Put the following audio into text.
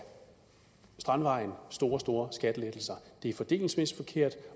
strandvejen store store skattelettelser det er fordelingsmæssigt forkert